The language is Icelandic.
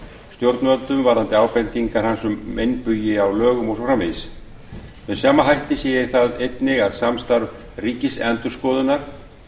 stjórnvöldum varðandi ábendingar hans um meinbugi á lögum og svo framvegis með sama hætti sé ég það einnig að samstarf ríkisendurskoðunar